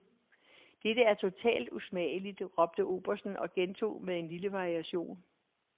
Dette er totalt usmageligt, råbte obersten og gentog med en lille variation.